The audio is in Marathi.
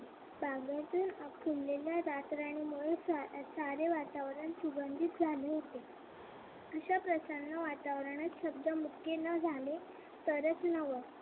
बांबूतील फुललेल्या रातराणीमुळे सारे वातावरण सुगंधित झाले होते अश्या प्रकरणात वातावरणात शब्द मुके न झाले तरच नवल